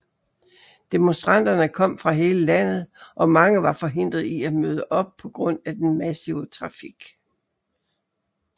Demonstranterne kom fra hele landet og mange var forhindret i at møde op på grund af den massive trafik